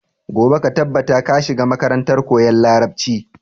Gobe ka tabbata ka shiga makarantar koyan larabci!